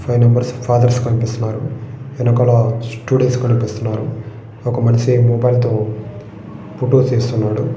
వెనకాల five numbers fathers కనిపిస్తున్నారు ఎనకాల స్టూడెంట్స్ కనిపిస్తున్నారు.